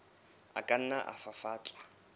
a ka nna a fafatswa